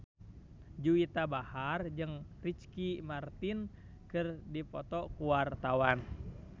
Juwita Bahar jeung Ricky Martin keur dipoto ku wartawan